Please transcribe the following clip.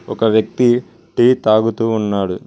ఒక వ్యక్తి టీ తాగుతూ ఉన్నాడు.